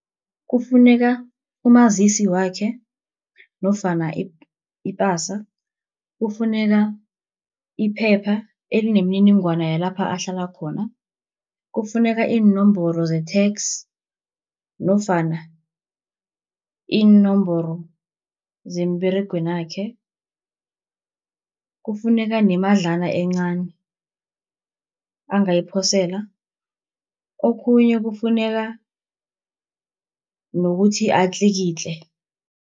Kufuneka umazisi wakhe, nofana ipasa. Kufuneka iphepha elinemininingwana yalapha ahlala khona. Kufuneka iinomboro ze-tax, nofana iinomboro zemberegwenakhe. Kufuneka nemadlana encani angayiphosela, okhunye kufuneka nokuthi atlikitle.